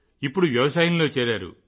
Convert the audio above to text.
ఇప్పుడు వ్యవసాయంలో చేరారు